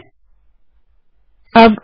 enter दबायें